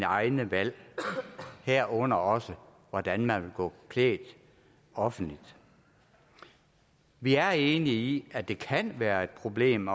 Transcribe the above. egne valg herunder også hvordan man vil gå klædt offentligt vi er enige i at det kan være et problem